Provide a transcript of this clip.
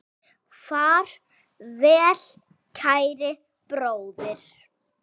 Far vel kæri bróðir.